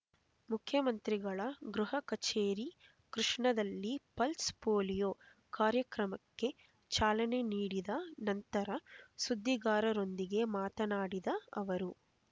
ಮುಖ್ಯಮಂತ್ರಿಗಳ ಗೃಹ ಕಚೇರಿ ಕೃಷ್ಣದಲ್ಲಿ ಪಲ್ಸ್ ಪೊಲೀಯೊ ಕಾರ್ಯಕ್ರಮಕ್ಕೆ ಚಾಲನೆ ನೀಡಿದ ನಂತರ ಸುದ್ದಿಗಾರರೊಂದಿಗೆ ಮಾತನಾಡಿದ ಅವರು